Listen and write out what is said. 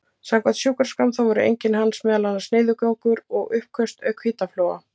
Samkvæmt sjúkraskrám þá voru einkenni hans meðal annars niðurgangur og uppköst auk hitafloga.